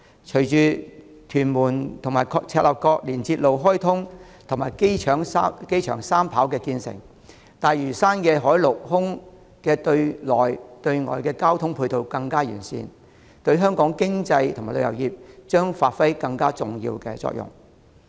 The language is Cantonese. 隨着屯門至赤鱲角連接路開通及機場三跑建成，大嶼山的海、陸、空對內對外交通配套會更為完善，對香港的經濟及旅遊業將發揮更重要的作用。